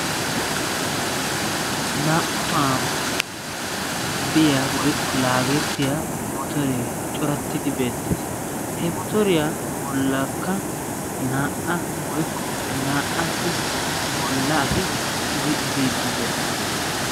naa''u tohuwan biya woykko motoree coratidi beettees. he motoriyaa bolankka naa''a woykko cora asati uttidi biidi beettees.